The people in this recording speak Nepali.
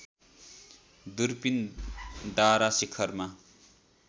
दूरपीन दारा शिखरमा